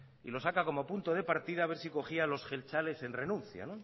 y lo saca como punto de partida a ver si cogía los jeltzales en el renuncio